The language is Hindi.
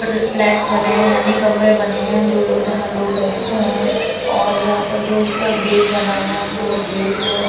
फ्लैट्स बने है यानि कमरे बने है जो लोग जहां लोग रहते है और यहाँ पर जो उसका गेट बना हुआ है हमको वो गेट जो --